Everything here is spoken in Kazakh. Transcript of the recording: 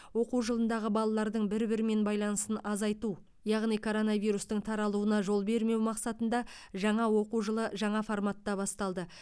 оқу жылындағы балалардың бір бірімен байланысын азайту яғни коронавирустың таралуына жол бермеу мақсатында жаңа оқу жылы жаңа форматта басталды